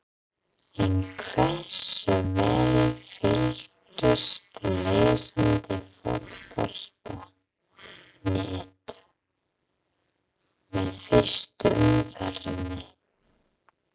En hversu vel fylgdust lesendur Fótbolta.net með fyrstu umferðinni?